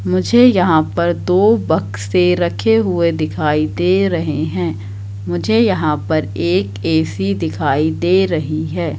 मुझे यहां पर दो बक्से रखे हुए दिखाई दे रहे हैं मुझे यहां पर एक ए_सी दिखाई दे रही है।